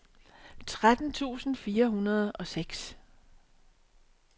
tretten tusind fire hundrede og seks